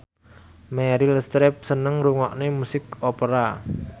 Meryl Streep seneng ngrungokne musik opera